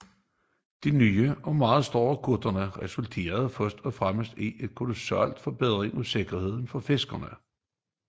De nye og meget større kuttere resulterede først og fremmest i en kolossal forbedring af sikkerheden for fiskerne